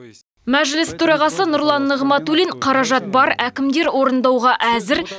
мәжіліс төрағасы нұрлан нығматулин қаражат бар әкімдер орындауға әзір